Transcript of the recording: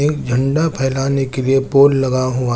एक झंडा फैलाने के लिए पोल लगा हुआ--